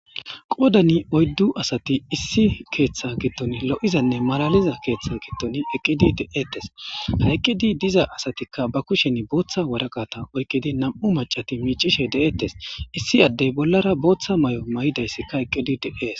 qoodani oyddu asati issi keeththa giddon lo7izanne malaliza keeththa giddoni eqqidi de7ettes ha eqqidi diza asatikka ba kusheni booththa waraqata oykidi nam7u macati miicishe de7ettes issi addey bollara booththa mayo mayidayssikka eqqidi de7ees.